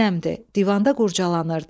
divanda qurcalanırdı.